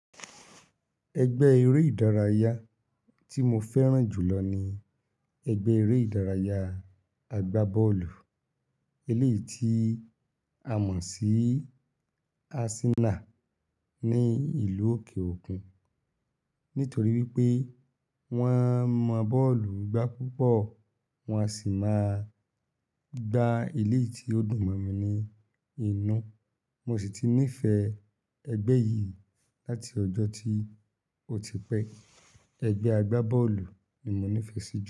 Ẹgbẹ́ eré ìdárayá tí mo fẹ́ràn jù lọ ni ẹgbẹ́ eré ìdárayá àgbá bọ́ọ̀lù. Ilé tí àmọ̀ sí Arsenal ní ìlú òkè òkun. Nítorí wípé wọ́n mọ bọ́ọ̀lù gbá púpọ̀ wọn a sì máa gba ilé tí ó dùn mọ́ mi ní inú. Mo sì ti nífẹ̀ẹ́ ẹgbẹ́ yìí láti ọjọ́ tí ó ti pẹ́. Ẹgbẹ́ àgbá bọ́ọ̀lù ni mo nífẹ̀ẹ́ sí jù.